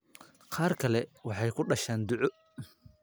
Qaar kale waxay ku dhashaan duco.